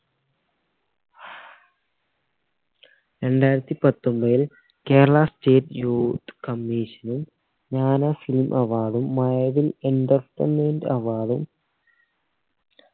രണ്ടായിരത്തി പത്തൊമ്പതിൽ keral state youth commission ഉം ജ്ഞാന film award ഉം മഴവിൽ entertainment award ഉം